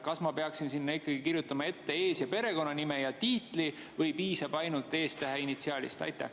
Kas ma peaksin kirjutama ees‑ ja perekonnanime ning tiitli või piisab ainult esitähest, initsiaalist?